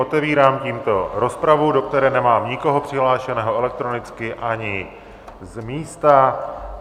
Otevírám tímto rozpravu, do které nemám nikoho přihlášeného elektronicky ani z místa.